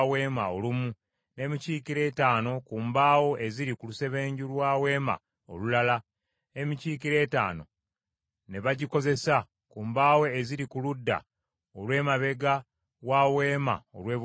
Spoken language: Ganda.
n’emikiikiro etaano ku mbaawo eziri ku lusebenju lwa Weema olulala, n’emikiikiro etaano ne bagikozesa ku mbaawo eziri ku ludda olw’emabega wa Weema olw’ebugwanjuba.